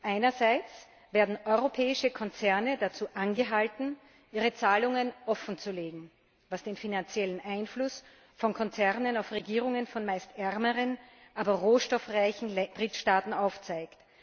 Einerseits werden europäische Konzerne dazu angehalten, ihre Zahlungen offenzulegen, was den finanziellen Einfluss von Konzernen auf Regierungen von meist ärmeren, aber rohstoffreichen Drittstaaten aufzeigt.